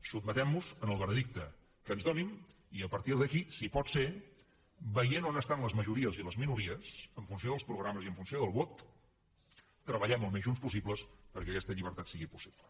sotmetem nos al veredicte que ens donin i a partir d’aquí si pot ser veient on estan les majories i les minories en funció dels programes i en funció del vot treballem al més junts possible perquè aquesta llibertat sigui possible